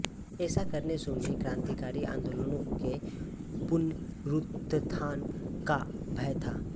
ऐसा करने से उन्हें क्रांतिकारी आंदोलनों के पुनरुत्थान का भय था